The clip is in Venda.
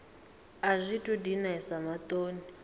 a zwi tou dinesa maṱoni